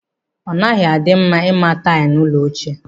Ọ naghị na-adị mma ịma taịlụ n'ụlọ ochie.